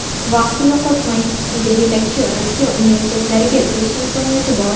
Vaqtni yo‘qotmang, sizda yetakchi Rossiya universitetlariga kirish imkoniyati bor!